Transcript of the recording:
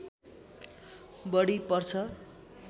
बढी पर्छ